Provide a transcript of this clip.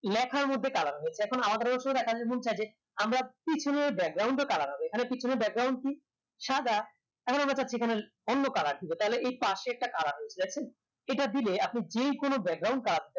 লেখার মধ্যে colour হয় এখন আলাদাভাবে যে আমরা পিছনের ও colour হবে এখানে পিছনের কি সাদা এখন আমরা চাচ্ছি এখানে অন্য colour দিবো তাহলে এই পাশে একটা colour রয়েছে এখন এটা দিলে আপনি যেকোনো colour